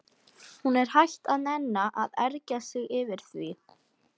Hún er hætt að nenna að ergja sig yfir því.